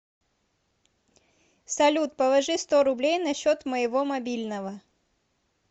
салют положи сто рублей на счет моего мобильного